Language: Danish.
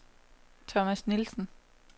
Thomas Nielsen